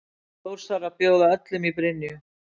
Þórsarar bjóða öllum í Brynju!